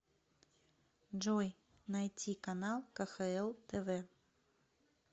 джой найти канал кхл тв